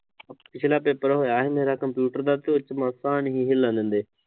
ਪਿਛਲਾ ਪੇਪਰ ਹੋਇਆ ਸੀ ਮੇਰਾ ਕੰਪਿਊਟਰ ਦਾ ਮਾਸਾ ਵੀ ਨੀਂ ਹਿੱਲਣ ਦਿੰਦੇ